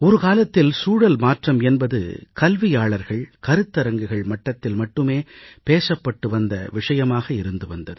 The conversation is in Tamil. ஒரு காலத்தில் சூழல் மாற்றம் என்பது கல்வியாளர்கள் கருத்தரங்குகள் மட்டத்தில் மட்டுமே பேசப்பட்டு வந்த விஷயமாக இருந்து வந்தது